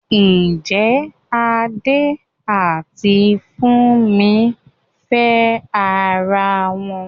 Ǹjẹ́ Adé àti Fúnmi ń fẹ́ ara wọn?